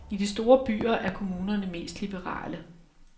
I de store byer er kommunerne mest liberale.